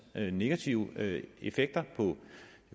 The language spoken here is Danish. negative effekter på det